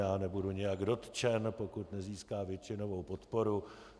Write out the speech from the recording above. Já nebudu nijak dotčen, pokud nezíská většinovou podporu.